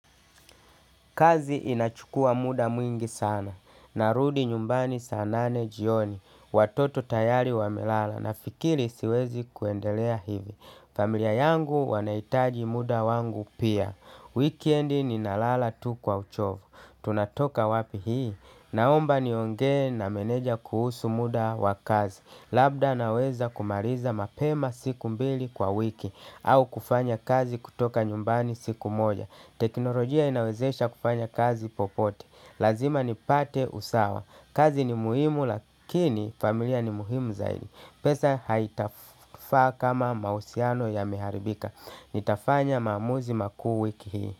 Kazi inachukua muda mwingi sana, narudi nyumbani saa nane jioni, watoto tayari wamelala nafikiri siwezi kuendelea hivi. Familia yangu wanaitaji muda wangu pia. Wikiendi ninalala tu kwa uchovu. Tunatoka wapi hii. Naomba nionge na meneja kuhusu muda wakazi. Labda naweza kumaliza mapema siku mbili kwa wiki au kufanya kazi kutoka nyumbani siku moja. Teknolojia inawezesha kufanya kazi popote. Lazima ni pate usawa. Kazi ni muhimu lakini familia ni muhimu zaidi. Pesa haitafaa kama mahusiano yameharibika. Nitafanya mamuzi makuu wiki hii.